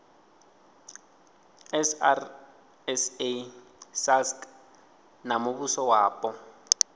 srsa sasc na muvhuso wapo